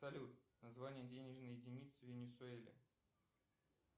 салют название денежной единицы в венесуэле